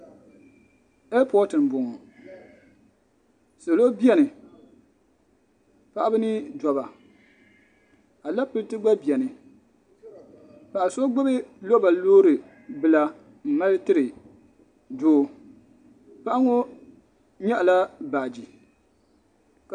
Ɛia pɔty n bɔŋɔ salo bɛni paɣaba ni dabba alapile ti bɛni paɣa so gbubi lɔba loori bila n mali tiri doo paɣa ŋɔ yɛɣi la baaji.